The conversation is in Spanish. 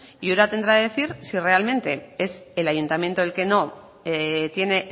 y ura tendrá que decir si realmente es el ayuntamiento el que no tiene